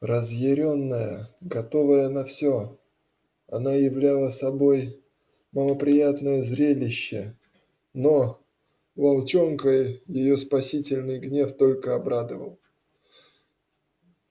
разъярённая готовая на всё она являла собой малоприятное зрелище но волчонка её спасительный гнев только обрадовал